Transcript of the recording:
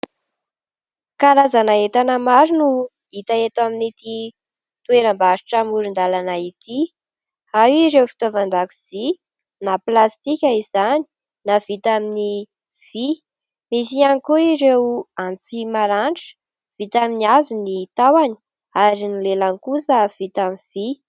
Karazana entana maro no hita eto amin'ity toeram-barotra amoron-dàlana ity ary ireo fitaovan-dakozia na plastika izany na vita amin'ny vy, misy ihany koa ireo antsy vy maranitra vita amin'ny hazo ny tahony ary ny lelany kosa vita amin'ny vy.